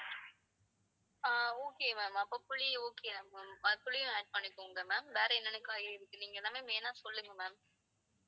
அப்போ புளி okay யா ma'am புளியும் add பண்ணிக்கோங்க ma'am. வேற என்னென்ன காய்லாம் இருக்கு நீங்க எல்லாமே line ஆ சொல்லுங்க ma'am.